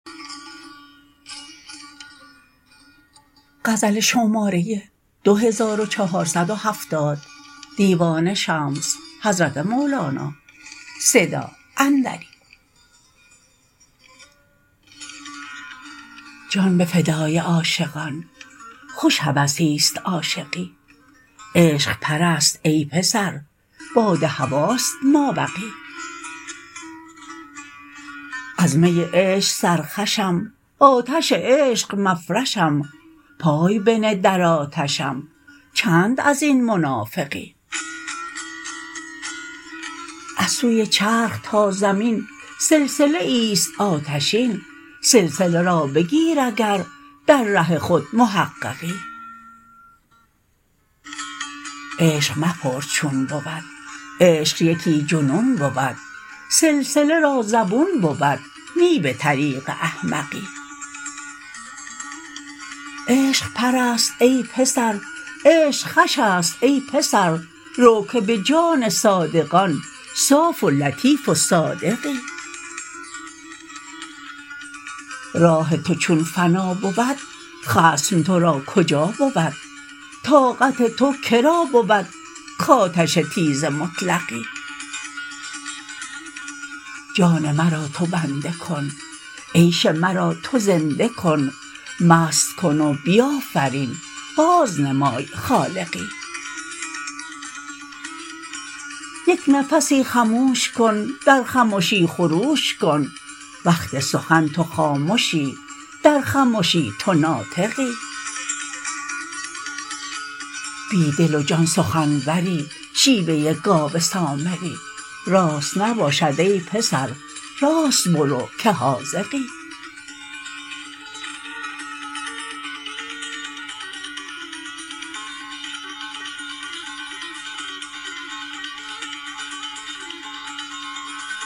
جان به فدای عاشقان خوش هوسی است عاشقی عشق پرست ای پسر باد هواست مابقی از می عشق سرخوشم آتش عشق مفرشم پای بنه در آتشم چند از این منافقی از سوی چرخ تا زمین سلسله ای است آتشین سلسله را بگیر اگر در ره خود محققی عشق مپرس چون بود عشق یکی جنون بود سلسله را زبون بود نی به طریق احمقی عشق پرست ای پسر عشق خوش است ای پسر رو که به جان صادقان صاف و لطیف و صادقی راه تو چون فنا بود خصم تو را کجا بود طاقت تو که را بود کآتش تیز مطلقی جان مرا تو بنده کن عیش مرا تو زنده کن مست کن و بیافرین بازنمای خالقی یک نفسی خموش کن در خمشی خروش کن وقت سخن تو خامشی در خمشی تو ناطقی بی دل و جان سخنوری شیوه گاو سامری راست نباشد ای پسر راست برو که حاذقی